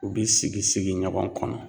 U bi sigi sigi ɲɔgɔn kɔnɔ